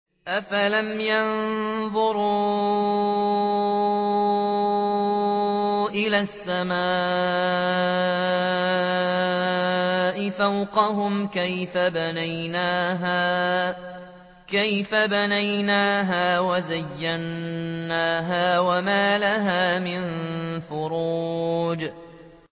أَفَلَمْ يَنظُرُوا إِلَى السَّمَاءِ فَوْقَهُمْ كَيْفَ بَنَيْنَاهَا وَزَيَّنَّاهَا وَمَا لَهَا مِن فُرُوجٍ